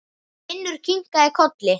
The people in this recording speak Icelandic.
Finnur kinkaði kolli.